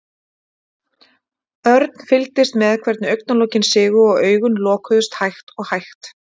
Örn fylgdist með hvernig augnalokin sigu og augun lokuðust hægt og hægt.